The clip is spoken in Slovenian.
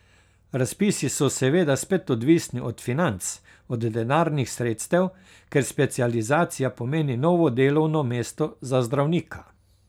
Razpisi so seveda spet odvisni od financ, od denarnih sredstev, ker specializacija pomeni novo delovno mesto za zdravnika.